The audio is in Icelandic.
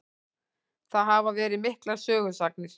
Það hafa verið miklar sögusagnir.